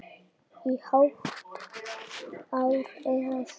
Í hálft ár eða svo.